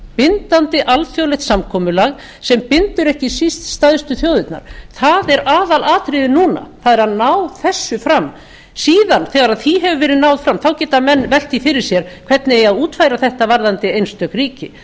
bindandi alþjóðasamkomulag sem bindur ekki síst stærstu þjóðirnar það er aðalatriðið núna það er að ná þessu fram síðan þegar því hefur verið náð fram þá geta menn velt því fyrir sér hvernig eigi að útfæra þetta varðandi einstök ríki